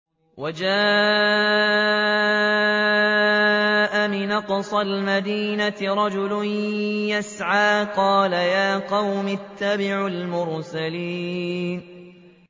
وَجَاءَ مِنْ أَقْصَى الْمَدِينَةِ رَجُلٌ يَسْعَىٰ قَالَ يَا قَوْمِ اتَّبِعُوا الْمُرْسَلِينَ